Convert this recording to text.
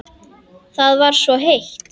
Það var svo heitt.